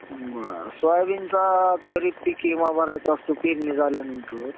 बरं सोयाबीनचा खरीप पीक विमा भरायचा असतो पेरणी झाल्यानंतर.